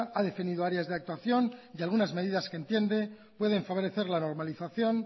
ha definido áreas de actuación y algunas medidas que entiende pueden favorecer la normalización